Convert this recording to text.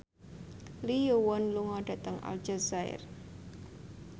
Lee Yo Won lunga dhateng Aljazair